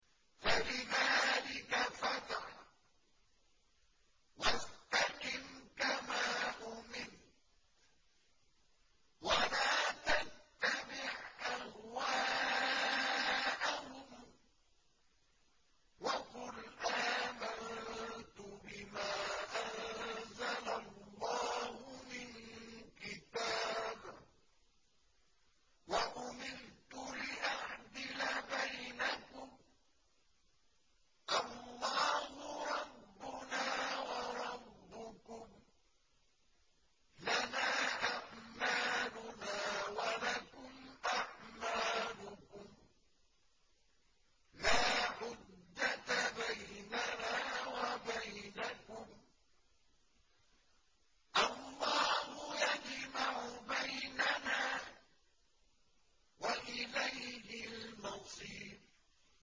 فَلِذَٰلِكَ فَادْعُ ۖ وَاسْتَقِمْ كَمَا أُمِرْتَ ۖ وَلَا تَتَّبِعْ أَهْوَاءَهُمْ ۖ وَقُلْ آمَنتُ بِمَا أَنزَلَ اللَّهُ مِن كِتَابٍ ۖ وَأُمِرْتُ لِأَعْدِلَ بَيْنَكُمُ ۖ اللَّهُ رَبُّنَا وَرَبُّكُمْ ۖ لَنَا أَعْمَالُنَا وَلَكُمْ أَعْمَالُكُمْ ۖ لَا حُجَّةَ بَيْنَنَا وَبَيْنَكُمُ ۖ اللَّهُ يَجْمَعُ بَيْنَنَا ۖ وَإِلَيْهِ الْمَصِيرُ